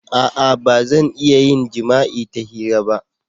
A'a! Ba zan iya yin jima'i ta hira ba.